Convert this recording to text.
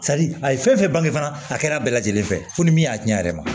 a ye fɛn fɛn bangen fana a kɛra bɛɛ lajɛlen fɛ fo ni min y'a tiɲɛ a yɛrɛ ma